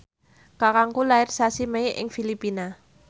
kakangku lair sasi Mei ing Filipina